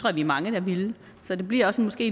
er mange der ville så det bliver måske